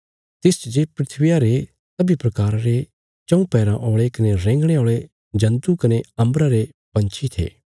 तिसच जे धरतिया रे सब्बीं प्रकाराँ रे चऊँ पैराँ औल़े कने रेंगणे औल़े जन्तु कने अम्बरा रे पंछी थे